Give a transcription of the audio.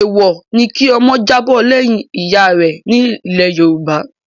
Èèwọ̀ ni kí ọmọ jábọ́ lẹ́yìn ìyá rẹ̀ nílẹ̀ Yorùbá.